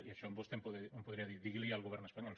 i això vostè em podria dir digui li ho al govern espanyol